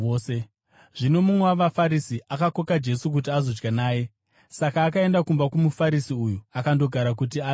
Zvino mumwe wavaFarisi akakoka Jesu kuti azodya naye, saka akaenda kumba kwomuFarisi uyu akandogara kuti adye.